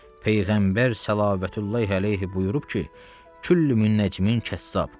Peyğəmbər səllallahu əleyhi buyurub ki, külli munəccimin kəssab.